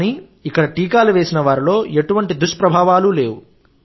కానీ ఇక్కడ టీకాలు వేసిన వారిలో ఎటువంటి దుష్ప్రభావాలు లేవు